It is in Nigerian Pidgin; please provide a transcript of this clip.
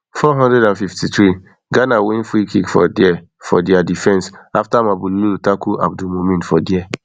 four hundred and fifty-three ghana win freekick for dia for dia defense afta mabululu tackle abdul mumin for dia